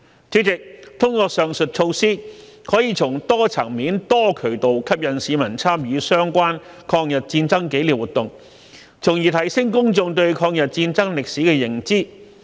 主席，通過上述措施，可以從多層面、多渠道吸引市民參與相關抗日戰爭紀念活動，從而提升公眾對抗日戰爭歷史的認知。